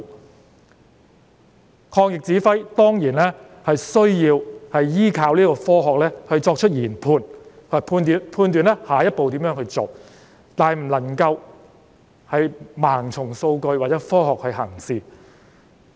抗疫工作的指揮人員當然需要依靠科學作出研判，以及判斷下一步如何做，但卻不能盲從數據或科學行事。